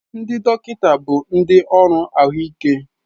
Ndị dọkịta bụ ndị ọrụ ahụike.